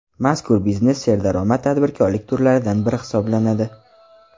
Mazkur biznes serdaromad tadbirkorlik turlaridan biri hisoblanadi.